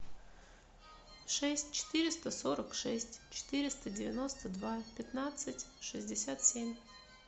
шесть четыреста сорок шесть четыреста девяносто два пятнадцать шестьдесят семь